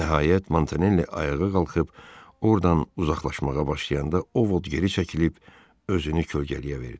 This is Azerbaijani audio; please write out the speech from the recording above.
Nəhayət Montanelli ayağa qalxıb ordan uzaqlaşmağa başlayanda Ovot geri çəkilib özünü kölgələyə verdi.